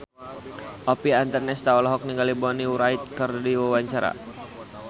Oppie Andaresta olohok ningali Bonnie Wright keur diwawancara